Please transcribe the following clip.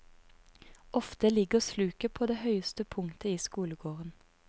Ofte ligger sluket på det høyeste punktet i skolegården.